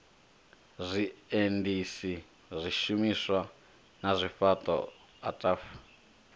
zwiendisi zwishumiswa na zwifhaṱo ataf